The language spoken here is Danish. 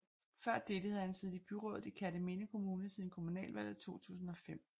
Før dette havde han siddet i byrådet i Kerteminde Kommune siden kommunalvalget 2005